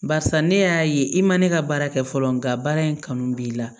Barisa ne y'a ye i ma ne ka baara kɛ fɔlɔ nga baara in kanu b'i la